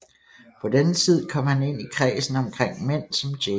På denne tid kom han ind i kredsen omkring mænd som J